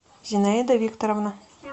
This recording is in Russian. зинаида викторовна